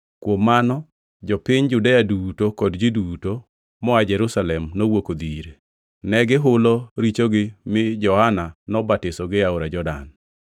Kuom mano, jopiny Judea duto kod ji duto moa Jerusalem nowuok odhi ire. Ne gihulo richogi mi Johana nobatisogi e Aora Jordan.